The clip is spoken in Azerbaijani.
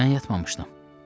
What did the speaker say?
Mən yatmamışdım.